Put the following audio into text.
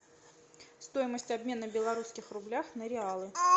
стоимость обмена в белорусских рублях на реалы